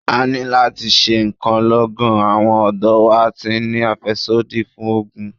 A ní láti ṣe ǹkan lọ́gán, àwọn ọ̀dọ́ wa ti ń ní àfẹ́sódì fún ògùn.